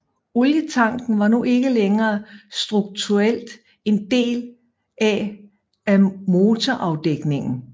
Olietanken var nu ikke længere struktuelt en del af af motorafdækningen